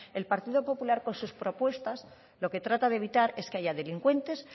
el partido popular con sus propuestas lo que trata de evitar es que haya delincuentes